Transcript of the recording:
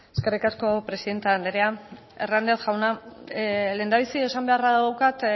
eskerrik asko presidente andrea hernández jauna lehendabizi esan beharra daukat